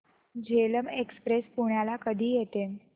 Jhelum express पुण्याला कधी येते